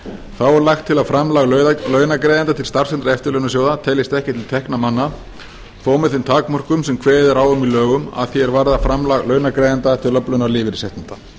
þá er lagt til að framlag launagreiðenda til starfs og eftirlaunasjóða teljist ekki til tekna manna þó með þeim takmörkunum sem kveðið er á um í lögum að því er varðar framlag launagreiðenda til öflunar lífeyrisréttinda